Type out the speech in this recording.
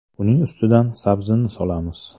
Uning ustidan sabzini solamiz.